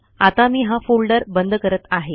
आता मी हा फोल्डर बंद करत आहे